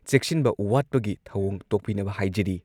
ꯆꯦꯛꯁꯤꯟꯕ ꯋꯥꯠꯄꯒꯤ ꯊꯧꯑꯣꯡ ꯇꯣꯛꯄꯤꯅꯕ ꯍꯥꯏꯖꯔꯤ꯫